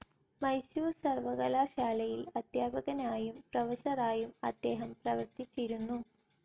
മൈസൂർ സർവ്വകലാശാലയിൽ അദ്ധ്യാപകനായും പ്രൊഫസറായും അദ്ദേഹം പ്രവർത്തിച്ചിരുന്നു.